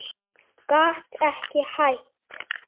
Gat ekki hætt.